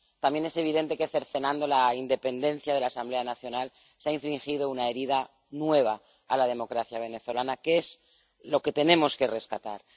También es evidente que cercenando la independencia de la Asamblea Nacional se ha infringido una herida nueva a la democracia venezolana, que es lo que tenemos que rescatar.